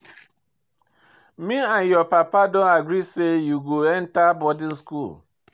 Me and your papa don agree say you go enter boarding school